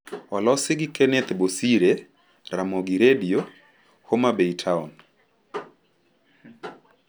Olosi gi Kenneth Bosire, Ramogi Redio, Homa Bay Town